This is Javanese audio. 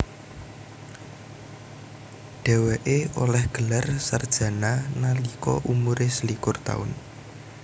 Dhewekw oleh gelar sarjana nalika umure selikur taun